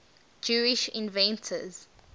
jewish inventors